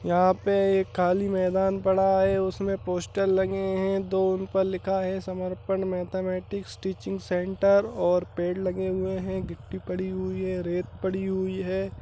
यहाँ पे एक खाली मैदान पड़ा है। उसमे पोस्टर लगे है दो उन पर लिखा है समर्पण मैथमेटिक्स टीचिंग सेंटर और पेड़ लगे हुए है गिट्टी पड़ी हुई है रेत पड़ी हुई है।